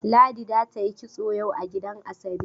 Ladi za ta yi kitso yau a gidan Asabe